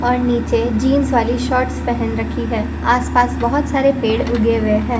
और नीचे जींस वाली शर्ट्स पहन रखी है आसपास बहुत सारे पेड़ उगे हुए हैं।